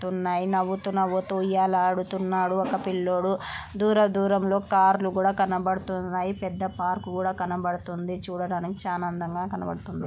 తున్నాయినవ్వుతూ నవ్వుతూ ఉయ్యాలా ఆడుతున్నాడు ఒక పిల్లోడు. దూర దూరంలో కార్లు కూడా కనబడుతున్నాయి. పెద్ద పార్క్ లు కూడా కనబడుతుంది. చూడడానికి చాలా అందంగా కనబడుతుంది.